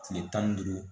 Kile tan ni duuru